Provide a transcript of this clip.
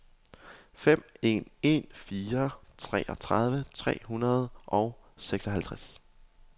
fem en en fire treogtredive tre hundrede og seksoghalvtreds